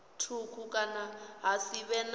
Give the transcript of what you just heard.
thukhu kana ha si vhe